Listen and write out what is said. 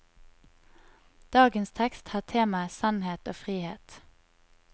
Dagens tekst har temaet sannhet og frihet.